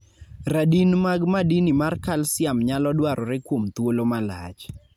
radin mag madini mar kalsiam nyalo dwarore kuom thuolo malach